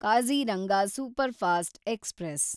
Kaziranga superfast express